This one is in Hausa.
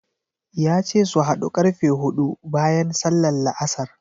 Ya ce su haɗu ƙarfe huɗu bayan sallar La'asar.